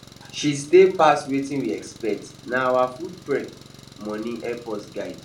she stay pass wetin we expect na our food prep money help us guide